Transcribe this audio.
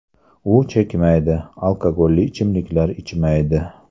U chekmaydi, alkogolli ichimliklar ichmaydi.